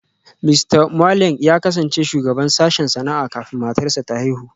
Mista Mwaleng ya kasance shugaban sashen sana'a kafin matarsa ​​ta haihu